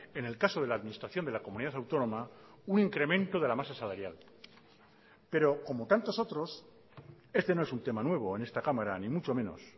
en el caso de la administración de la comunidad autónoma un incremento de la masa salarial pero como tantos otros este no es un tema nuevo en esta cámara ni mucho menos